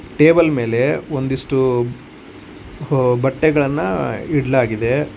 Table ಮೇಲೆ ಒಂದಿಷ್ಟು ವು ಬಟ್ಟೆಗಳನ್ನ ಇಡ್ಲಗಿದೆ.